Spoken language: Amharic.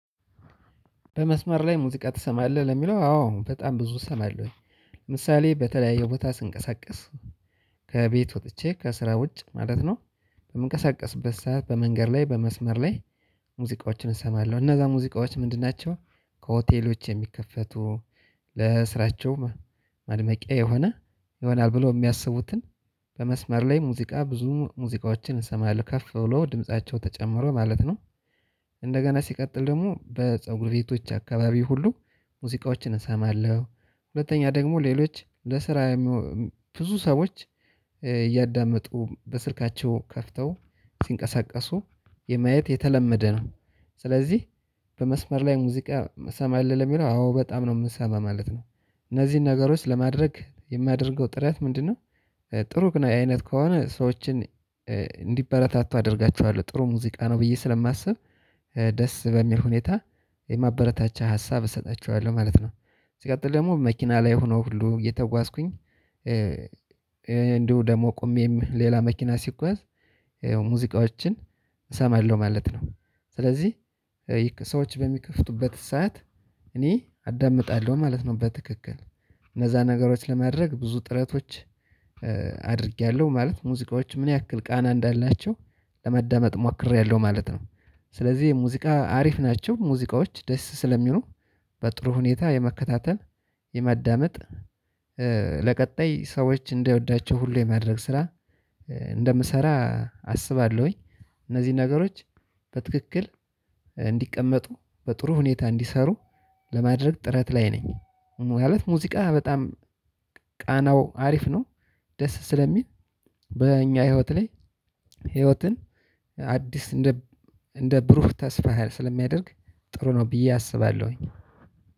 በመስመር ላይ ሙዚቃ ትሰማለህ ለሚለው አዎ በጣም ብዙ እሰማለሁኝ። ምሳሌ በተለያየ ቦታ ስንቀሳቀስ፣ ከቤት ወጥቼ ከስራ ውጭ ማለት ነው በምንቀሳቀስበት ሰዓት በመንገድ ላይ በመስመር ላይ ሙዚቃዎችን እሰማለው። እነዛ ሙዚቃዎችን ምንድን ናችው? ከሆቴሎች የሚከፈቱ ለስራቸው ማድመቅያ የሆነ ይሆናል ብለው የሚያስቡትን በመስመር ላይ ሙዚቃ ብዙ ሙዚቃዎችን እሰማለው። ከፍ ብሎ ድምቸው ተጨምሮ ማለት ነው። እንደገና በሰጉር ቤቶች አከባቢ ሁሉ ሙዚቃዎችን እሰማለው። ሁለተኛ ደሞ ሌሎች ለስራ ብዙ ሰዎች እያዳመጡ በስልካቸው ከፍተው ሲንቀሳቀሱ የማየት የተለመደ ነው። ስለዚህ በመስመር ላይ ሙዚቃ ትሰማህ? ለሚለው አዎ በጣም ነው የምንሰማው ማለት ነው። እነዚህን ነገሮች ለማድረግ የማደርገው ጥረት ምንድነው ጥሩ ቃና አይነት ከሆነ ሰዎችን እንዲበረታቱ አደርጋችኋለሁ። ጥሩ ሙዚቃ ነው ብዬ ስለማስብ ደስ በሚል ሁኔታ የማበረታቻ ሀሳብ እሰጣቸዋለሁ ማለት ነው። ሲቀጥል ደግሞ በመኪና ላይ ሆኖ ሁሉ እየተጓዝኩኝ ደሞ ቆሜም ሌላ መኪና ሲጓዝ ሙዚቃዎችን እሰማለው ማለት ነው። ሰለዚህ ሰዎች በሚከፍቱበት ሰዓት እኔ አዳምጣለው ማለት ነው በተክክል እነዛ ነገሮች ለማድረግ ብዙ ጥረቶች አድርጌያለሁ። ማለት ሙዚቃዎች ምን ያክል ቃና እንዳላቸው ለመዳመጥ ሞክሬያለሁ ማለት ነው። ስለዚህ የሙዚቃ አሪፍ ናቸው፣ ሙዚቃዎች ደስ ስለሚሉ በጥሩ ሁኔታ የመከታተል የማዳመጥ በቀጣይ ሰዎች እንዲወዷቸው ሁሉ የማድረግ ስራ እንደምሰራ አስባለሁኝ። እነዚህ ነገሮች በትክክል እንዲቀመጡ፣ በጥሩ ሁኔታ እንዲሰሩ ለማድረግ ጥረት ላይ ነኝ። ማለት ሙዚቃ በጣም ቃናው አሪፍ ነው። ደስ ስለሚል በእኛ ህይወት ላይ ህይወትን አዲስ እንደ እንደ ብሩህ ተስፋ ስለሚያደርግ ጥሩ ነው ብዬ አስባለሁኝ።